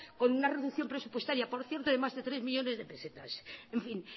con una reducción presupuestaria por cierto de más de tres millónes de pesetas en fin